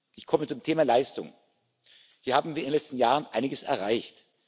Ich komme zum Thema Leistung Hier haben wir in den letzten Jahren einiges erreicht.